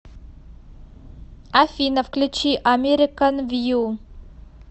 афина включи американ вью